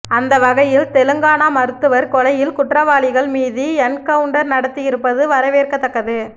அந்த வகையில் தெலங்கானா மருத்துவர் கொலையில் குற்றவாளிகள் மீது என்கவுன்டர் நடத்தியிருப்பது வரவவேற்கத் தக்கது